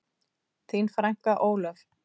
Þín frænka, Ólöf.